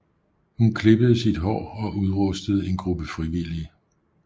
Hun klippede sit hår og udrustede en gruppe frivillige